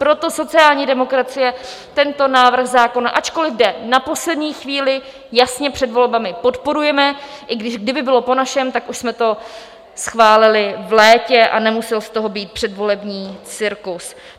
Proto sociální demokracie tento návrh zákona, ačkoliv jde na poslední chvíli, jasně, před volbami, podporuje, i když kdyby bylo po našem, tak už jsme to schválili v létě a nemusel z toho být předvolební cirkus.